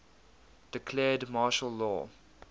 declared martial law